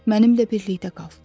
Mənimlə birlikdə qal.